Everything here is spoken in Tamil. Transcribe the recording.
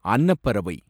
அன்னப்பறவை